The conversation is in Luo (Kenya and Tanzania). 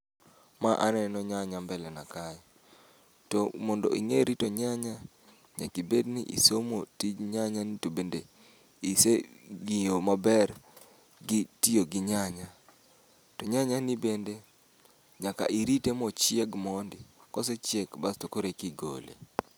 Ma aneno nyanya ,mbele na kae, to mondo ing'e rito nyanya, nyakibed ni isomo tij nyanya ni to bende ise ng'iyo maber gi tiyo gi nyanya. To nyanya ni bende nyaka irite mochieg mondi, kosechiek to basto koro e ki gole.